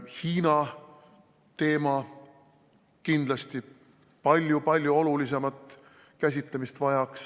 Hiina teema vajaks kindlasti palju-palju olulisemat käsitlemist.